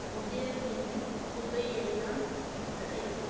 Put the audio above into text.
உதயகிரி குகை எல்லாம்